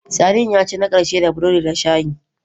Sardine ya ci na ƙarshe da burodi da shayi.